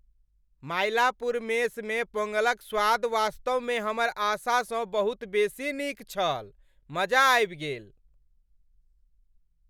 मायलापुर मेसमे पोंगलक स्वाद वास्तवमे हमर आशा सँ बहुत बेसी नीक छल। मजा आबि गेल।